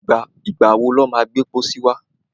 Ìgbà wọ ni wọ́n má gbẹ́ pọ́sí wá?